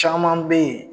Caman bɛ yen